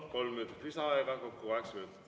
Kolm minutit lisaaega, kokku kaheksa minutit.